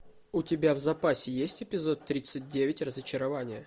у тебя в запасе есть эпизод тридцать девять разочарование